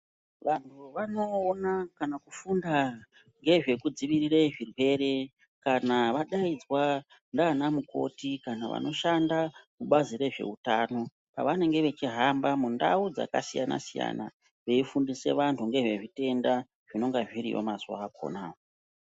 Vanhu vanowona kana kufunda ngezvekudzivirire zvirwere kana vadaidzwa nana mukoti kana vanoshanda mubazi rezvehutano pavanenge vechihamba mundau dzakasiyana siyana beyifundise vanhu ngezve zvitenda zvinonga zviriyo mazuva akona.